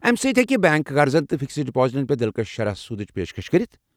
امہِ سۭتۍ ہیٚکہِ بنٛک قرضن تہٕ فکسڈ ڈپازٹن پٮ۪ٹھ دلکش شرح سوٗدٕچ پیشکش كرِتھ۔